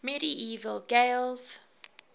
medieval gaels